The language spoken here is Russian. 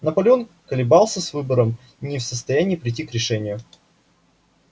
наполеон колебался с выбором не в состоянии прийти к решению